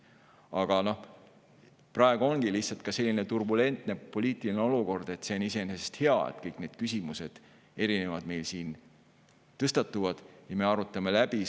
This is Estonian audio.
Aga praegu ongi selline turbulentne poliitiline olukord, nii et see on iseenesest hea, kui me arutame kõik küsimused, mis meil tõstatuvad, ja sellised teemad läbi.